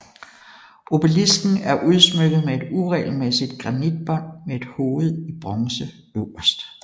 Obelisken er udsmykket med et uregelmæssigt granitbånd med et hoved i bronze øverst